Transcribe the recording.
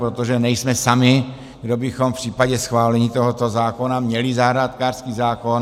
Protože nejsme sami, kdo bychom v případě schválení tohoto zákona měli zahrádkářský zákon.